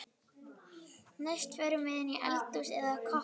Næst förum við inn í eldhúsið eða kokkhúsið.